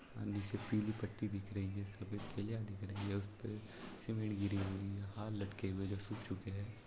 अ नीचे पीली पट्टी दिख रही है सफेद दिख रहा है उसमे सिमेन्ट गिरे हुई है हार लटके हुए हैं जो सुख चुके हैं।